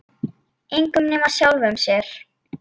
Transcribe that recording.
Engum nema sjálfum sér.